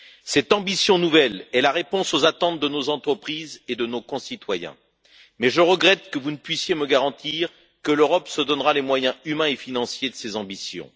Cette ambition nouvelle est la réponse aux attentes de nos entreprises et de nos concitoyens, mais je regrette que vous ne puissiez me garantir que l'Europe se donnera les moyens humains et financiers de ses ambitions.